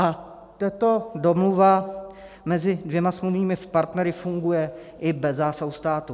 A tato domluva mezi dvěma smluvními partnery funguje i bez zásahu státu.